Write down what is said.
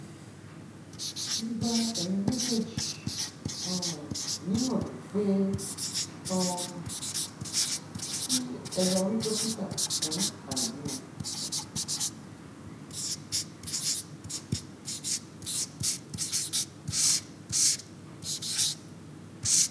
mo gba ẹyin méjèèjì um níyànjú pé um kí ẹ lọ rí dókítà fún àìbímọ